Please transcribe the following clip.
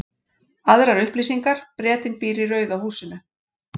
Aðrar upplýsingar: Bretinn býr í rauða húsinu.